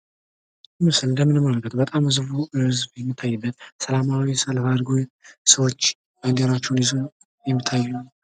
ምስሉ ላይ እንድምንመለከተው በጣም ብዙ ህዝብ የሚታይበት ፣ ሰላማዊ ሰልፍ አድርገው ሰዎች ባንዲራቸውን ይዘው የሚታዩበት